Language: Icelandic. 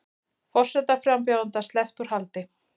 Forsetaframbjóðanda sleppt úr haldi